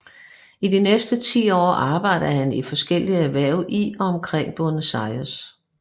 I de næste ti år arbejdede han i forskellige erhverv i og omkring Buenos Aires